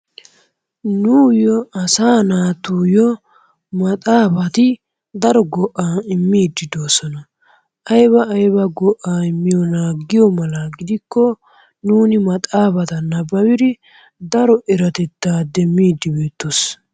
Nuyoo asaa natuyoo maxafatti daro go'aa immidi dosonnaa, ayba aybaa go'aa immiyonnaa giyo mala gikko nunno maxaffaa nababidi daro eratettaa demidi bettoos.